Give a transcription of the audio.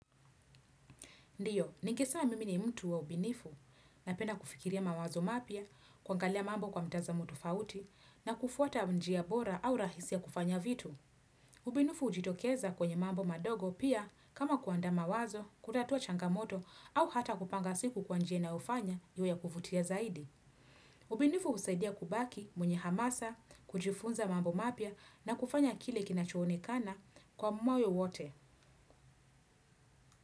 Ndio nikisema mimi ni mtu wa ubunifu, napenda kufikiria mawazo mapya, kuangalia mambo kwa mtazamo tofauti na kufuata njia bora au rahisi ya kufanya vitu. Ubinifu hujitokeza kwenye mambo madogo pia kama kuandaa mawazo, kutatua changamoto au hata kupanga siku kwa njia inayofanya iwe ya kuvutia zaidi. Ubinifu husaidia kubaki mwenye hamasa, kujifunza mambo mapya na kufanya kile kinachoonekana kwa moyo wote.